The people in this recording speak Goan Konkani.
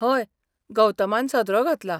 हय, गौतमान सदरो घातला.